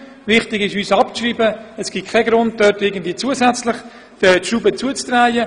Es ist uns wichtig, abzuschreiben, denn es gibt keinen Grund, die Schrauben zusätzlich zuzudrehen.